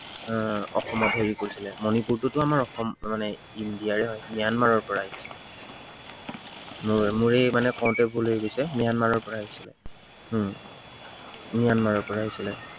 আহ অসমত হেৰি কৰিছিলে, মনিপুৰটোতো আমাৰ অসম মানে ইন্দিয়াৰে হয়। ম্য়ানমাৰৰ পৰা আহিছিলে। মোৰেই মানে কওতে ভুল হৈ গৈছে ম্য়ানমাৰৰ পৰা আহিছিলে উম ম্য়ানমাৰৰ পৰা আহিছিলে।